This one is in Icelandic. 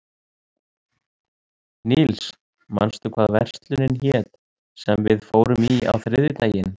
Níls, manstu hvað verslunin hét sem við fórum í á þriðjudaginn?